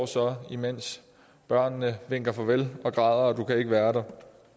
så imens børnene vinker farvel og græder og du kan ikke være der